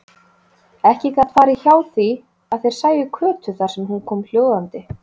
Ekki gat farið hjá því að þeir sæju Kötu þar sem hún kom hljóðandi.